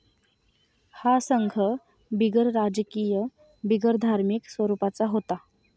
हा संघ बिगरराजकीय, बिगरधार्मिक स्वरूपाचा होता.